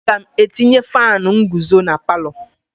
Aga m etinye faanụ nguzo na palọ.